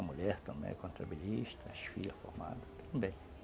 A mulher também é contabilista, as filhas formadas também.